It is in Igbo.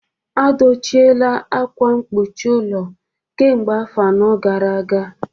A dochiela akwa mkpuchi ụlọ kemgbe afọ anọ gara aga